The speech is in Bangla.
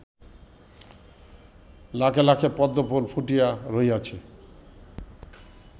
লাখে লাখে পদ্মফুল ফুটিয়া রহিয়াছে